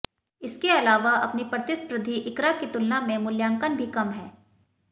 इसके अलावा अपनी प्रतिस्पर्धी इक्रा की तुलना में मूल्यांकन भी कम है